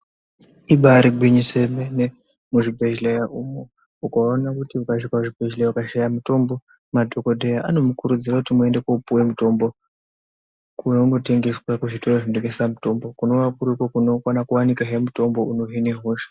Ibari gwinyiso remene muzvibhehleya umu, ukaone kuti ukasvika kuzvibhehleya ukashaye mutombo madhokodheya anomukurudzira kuti muende kopuwe mutombo kwaunotengeswa kuzvitoro zvinotengese mutombo kunova kuriko kunokona kuwanikahe mutombo unohine hosha.